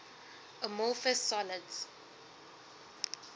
amorphous solids